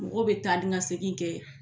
Mɔgɔw bi taa ni ka segin kɛ